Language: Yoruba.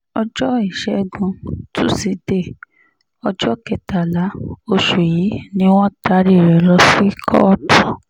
ọjọ́ ìṣègùn tusidee ọjọ́ kẹtàlá oṣù yìí ni wọ́n taari rẹ̀ lọ sí kóòtù